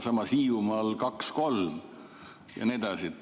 Samas, Hiiumaal on 2–3% ja nii edasi.